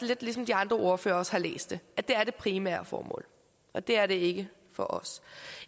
lidt ligesom de andre ordførere også har læst det at det er det primære formål og det er det ikke for os